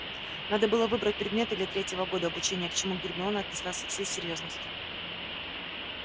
надо было выбрать предметы для третьего года обучения к чему гермиона отнеслась со всей серьёзностью